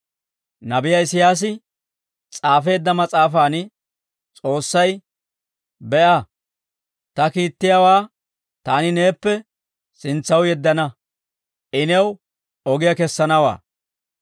Nabiyaa Isiyaasi s'aafeedda Mas'aafan S'oossay, «Be'a; ta kiittiyaawaa taani neeppe sintsaw yeddana. I new ogiyaa kessanawaa.